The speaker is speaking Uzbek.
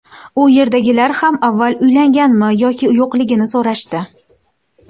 U yerdagilar ham avval uylanganmanmi yoki yo‘qligini so‘rashdi.